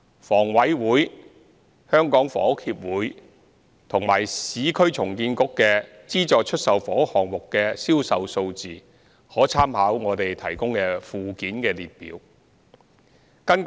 房委會、香港房屋協會及市區重建局的資助出售房屋項目的銷售數字可參考附件的列表。